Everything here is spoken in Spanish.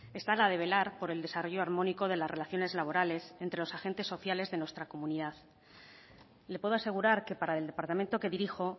está la de velar por el desarrollo armónico de las relaciones laborales entre los agentes sociales de nuestra comunidad le puedo asegurar que para el departamento que dirijo